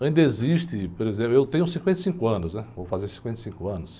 Ainda existe, por exemplo, eu tenho cinquenta e cinco anos, vou fazer cinquenta e cinco anos.